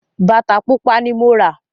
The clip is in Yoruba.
Bàtà Pupa ni mo rà